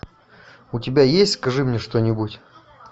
у тебя есть скажи мне что нибудь